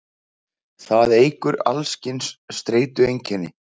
það eykur alls kyns streitueinkenni